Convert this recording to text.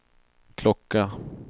klocka